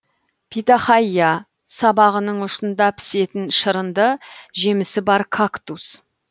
питахайя сабағының ұшында пісетін шырынды жемісі бар кактус